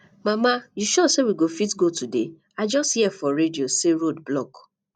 mama you sure say we go fit go today i just hear for radio say road block